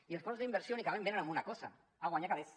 i els fons d’inversió únicament venen a una cosa a guanyar calés